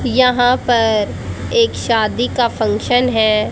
यहां पर एक शादी का फंक्शन है।